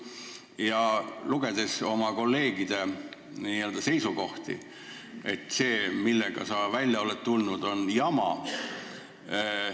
Ma olen lugenud oma kolleegide seisukohti ja nende arvates on see, millega sa välja oled tulnud, jama.